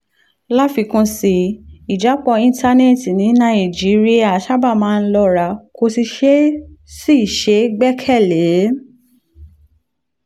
láfikún sí i ìjápọ̀ íńtánẹ́ẹ̀tì ní nàìjíríà sábà máa ń lọ́ra kò sì ṣeé sì ṣeé gbẹ́kẹ̀ lé